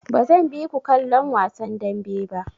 Bazan bi ku kallon wasan dambe ba.